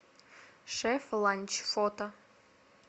шеф ланч фото